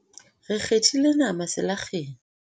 re kgethile nama selakgeng